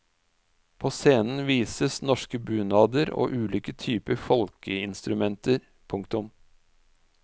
På scenen vises norske bunader og ulike typer folkeinstrumenter. punktum